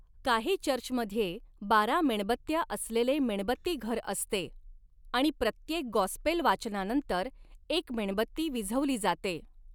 काही चर्चमध्ये बारा मेणबत्त्या असलेले मेणबत्तीघर असते आणि प्रत्येक गॉस्पेल वाचनानंतर, एक मेणबत्ती विझवली जाते.